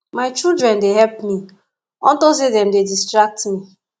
my children dey help me unto say dem dey distract me